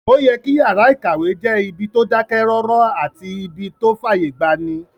Ó yẹ kí yàrá-ìkàwé jẹ́ ibi tó dákẹ́ rọ́rọ́ àti ibí tó fàyè gbani